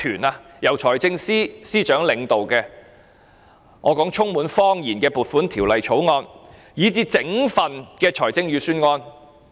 這是由財政司司長領導的充滿謊言的撥款條例草案和預算案。